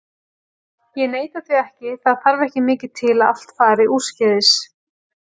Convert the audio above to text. Ég neita því ekki, það þarf ekki mikið til að allt fari úrskeiðis.